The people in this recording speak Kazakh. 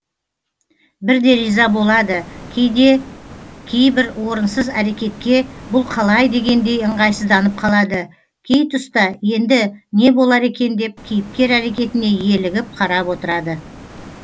бірде риза болады кейбір орынсыз әрекетке бұл қалай дегендей ыңғайсызданып қалады кей тұста енді не болар екен деп кейіпкер әрекетіне елігіп қарап отырады